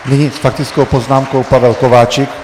Nyní s faktickou poznámkou Pavel Kováčik.